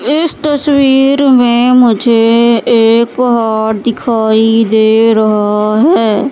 इस तस्वीर में मुझे एक पहाड़ दिखाई दे रहा है।